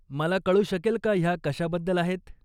मला कळू शकेल का ह्या कशाबद्दल आहेत?